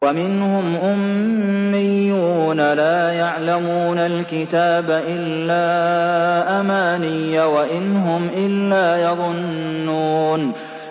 وَمِنْهُمْ أُمِّيُّونَ لَا يَعْلَمُونَ الْكِتَابَ إِلَّا أَمَانِيَّ وَإِنْ هُمْ إِلَّا يَظُنُّونَ